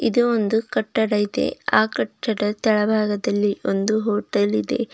ಮತ್ತೆ ಒಂದು ಕಟ್ಟಡ ಇದೆ ಆ ಕಟ್ಟಡದ ತಳಭಾಗದಲ್ಲಿ ಒಂದು ಹೋಟೆಲ್ ಇದೆ.